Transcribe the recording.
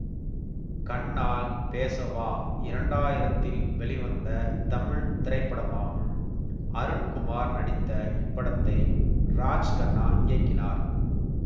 கண்ணால் பேசவா இரண்டாயிரத்தில் வெளிவந்த தமிழ் திரைப்படமாகும் அருண்குமார் நடித்த இப்படத்தை ராஜ்கண்ணா இயக்கினார்